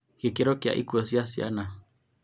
Gĩkĩro kĩa ikuũ cia ciana